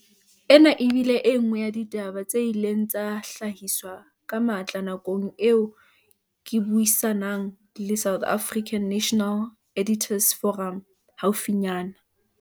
Ena e bile e nngwe ya ditaba tse ileng tsa hlahiswa ka matla nakong eo ke buisa nang le South African National Editors' Forum haufinyana.